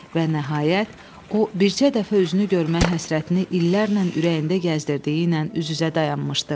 Və nəhayət, o, bircə dəfə özünü görmək həsrətini illərlə ürəyində gəzdirdiyi ilə üz-üzə dayanmışdı.